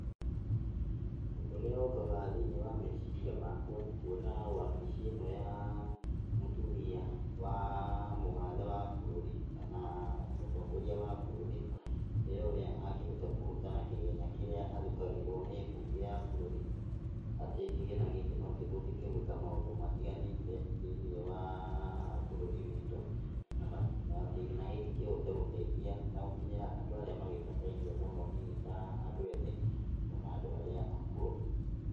Ũndũ ũrĩa ũkaga thĩiniĩ wa meciria makwa nĩ kuona wabici ĩno ya mũtũmia wa mũgathe wa bũrũri kana mũtongoria wa bũrũri wĩra ũrĩa angĩhota kũruta na kĩgĩna kĩrĩa athukagĩrwo nĩ mbunge ya bũrũri, atĩ kĩgĩna gĩkĩ nokĩhũthĩke gwĩka maũndũ matiganĩte thĩiniĩ wa bũrũri witũ na kĩgĩna gĩkĩ kĩhote gũtaithia na gũkinyĩra andũ arĩa magĩbataire mũno hihi ta andũ ethĩ ona andũ arĩa akũrũ.